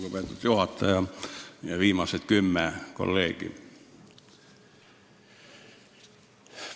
Lugupeetud juhataja ja viimased kümme kolleegi!